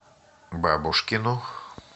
бабушкину